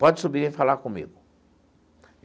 Pode subir e falar comigo.